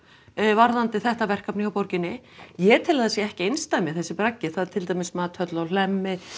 varðandi þetta verkefni hjá borginni ég tel að hann sé ekki einsdæmi þessi braggi það er til dæmis Mathöll á Hlemmi